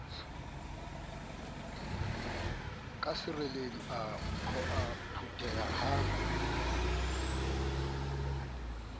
ka sereledi a phoqeha ha